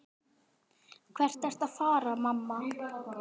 Hvert ertu að fara, mamma?